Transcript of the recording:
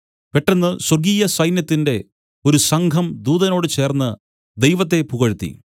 പെട്ടെന്ന് സ്വർഗ്ഗീയ സൈന്യത്തിന്റെ ഒരു സംഘം ദൂതനോട് ചേർന്ന് ദൈവത്തെ പുകഴ്ത്തി